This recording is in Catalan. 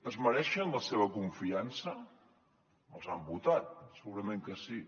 es mereixen la seva confiança els han votat segurament que sí